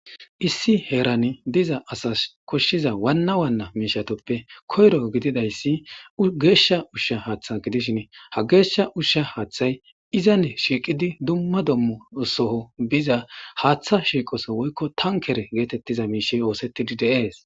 Issi heerani diza asatas koshiza miishatape wana wanape koyro gidizaysi geesha usha hatha gidishini hage geesha usha hatha izan shiiqidi duma duma qomo soho biza haatha shiiqoso woyko tankere geetetiza miishai oosetidi de'es.